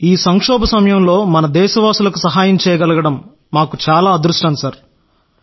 ఈ సంక్షోభ సమయంలో మన దేశస్థులకు సహాయం చేయగలగడం మాకు చాలా అదృష్టం సార్